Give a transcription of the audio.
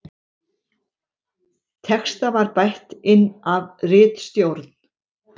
Texta var bætt inn af ritstjórn